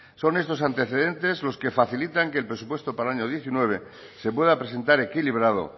son estos antecedentes los que facilitan que el presupuesto para el año diecinueve se pueda presentar equilibrado